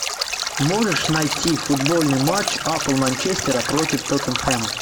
можешь найти футбольный матч апл манчестера против тоттенхэма